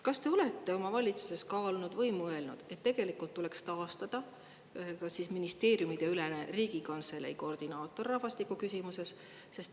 Kas te olete oma valitsuses kaalunud või mõelnud seda, et tegelikult tuleks taastada ministeeriumideülene Riigikantselei koordinaator rahvastikuküsimuste eest?